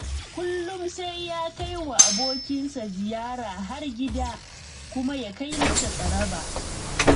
Kullum sai ya kai wa abokinsa ziyara har gida, kuma ya kai masa tsaraba